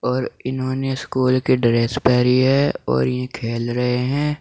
और इन्होंने स्कूल की ड्रेस पहरी है और ये खेल रहे हैं।